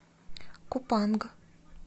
купанг